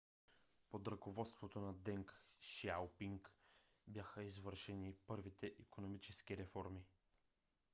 под ръководството на deng xiaoping бяха извършени първите икономически реформи